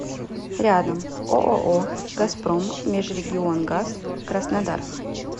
рядом ооо газпром межрегионгаз краснодар